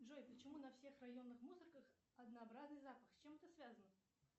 джой почему на всех районных мусорках однообразный запах с чем это связано